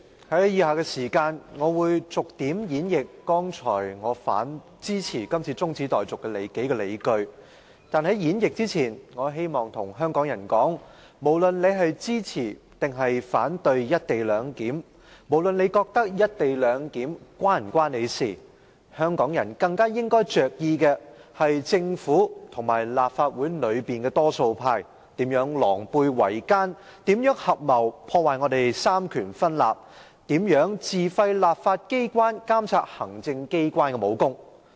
主席，在以下時間，我會逐點演繹我剛才提及支持這項中止待續議案的數項理據。但是，在演繹之前，我希望跟香港人說一番話：無論你支持或反對"一地兩檢"，無論你認為"一地兩檢"是否與你有關，香港人更應着意的是政府和立法會內的多數派如何狼狽為奸，如何合謀破壞三權分立，如何自廢立法機關監察行政機關的武功。